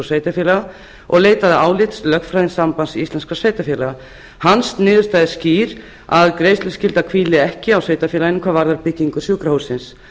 sveitarfélaga og leitaði álits lögfræðings sambands íslenskra sveitarfélaga niðurstaða hans er skýr að greiðsluskylda hvíli ekki á sveitarfélaginu hvað varðar byggingu sjúkrahússins